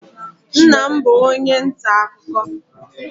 Nna m bụ onye nta akụkọ.